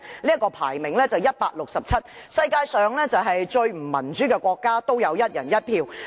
這國家排名 167， 是世界上最不民主的國家，但也有"一人一票"。